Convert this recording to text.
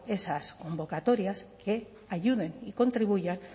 esas convocatorias que ayuden y contribuyan